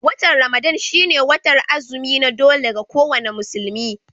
Watan Ramadan shi ne watar azumi na dole ga ko wani musulmi